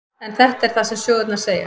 En þetta er það sem sögurnar segja.